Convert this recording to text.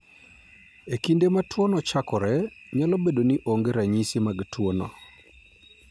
E kinde ma tuwono chakore, nyalo bedo ni onge ranyisi mag tuwono.